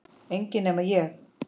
Enginn nema ég